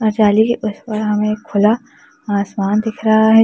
अ जाली के उस पार हमें खुला आसमान दिख रहा है।